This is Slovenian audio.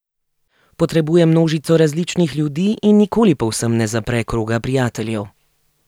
Potrebuje množico različnih ljudi in nikoli povsem ne zapre kroga prijateljev.